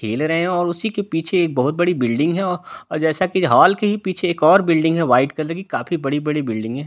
खेल रहे है और उसी के पीछे बहोत बड़ी बिल्डिंग है अ जैसा की हॉल के ही पीछे एक और बिल्डिंग में वाइट कलर की काफी बड़ी-बड़ी बिल्डिंगे --